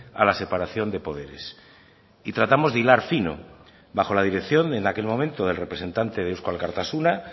a la separación de poderes y tratamos de hilar fino bajo la dirección en aquel momento del representante de eusko alkartasuna